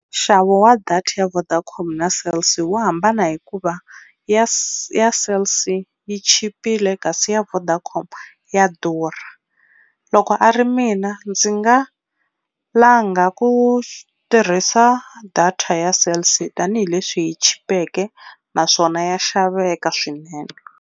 Nxavo wa data ya Vodacom na Cell C, wu hambana hi ku va ya Cell C yi chipile kasi ya Vodacom ya durha. Loko a ri mina ndzi nga langa ku tirhisa data ya Cell C tanihileswi yi chipeke naswona ya xaveka swinene.